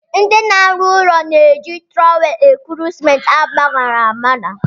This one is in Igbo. Ndị na-arụ ụlọ na-eji trọwel ekuru simenti agbaṅara agbaṅa.